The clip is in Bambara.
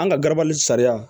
An ka garabali sariya